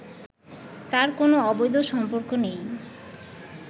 তার কোনো অবৈধ সম্পর্ক নেই